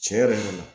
Tiɲɛ yɛrɛ la